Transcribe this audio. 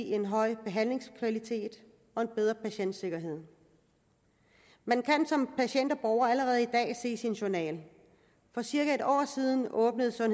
en høj behandlingskvalitet og en bedre patientsikkerhed man kan som patient og borger allerede i dag se sin journal for cirka et år siden åbnede der